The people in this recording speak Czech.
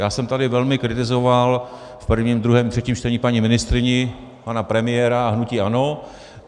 Já jsem tady velmi kritizoval v prvním, druhém, třetím čtení paní ministryni, pana premiéra a hnutí ANO.